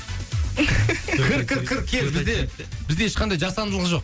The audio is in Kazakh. кір кір кір кел бізде бізде ешқандай жасандылық жоқ